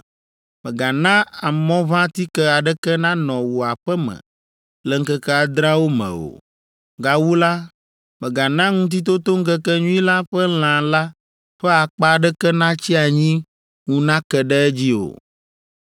Mègana amɔʋãtike aɖeke nanɔ wò aƒe me le ŋkeke adreawo me o. Gawu la, mègana Ŋutitotoŋkekenyui la ƒe lã la ƒe akpa aɖeke natsi anyi ŋu nake ɖe edzi o.